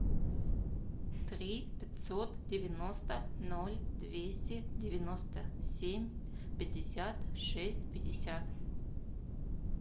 три пятьсот девяносто ноль двести девяносто семь пятьдесят шесть пятьдесят